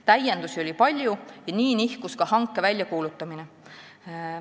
Täiendusi oli palju ja nii nihkus ka hanke väljakuulutamine.